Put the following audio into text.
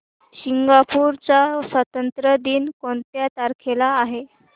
Singapore चा स्वातंत्र्य दिन कोणत्या तारखेला आहे